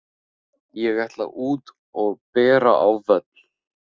Ég ætla út og bera á völl.